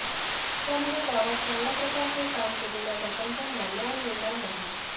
त्यामुळे गावात चांगल्या प्रकारचे काम केलेल्या सरपंचांना न्याय मिळणार नाही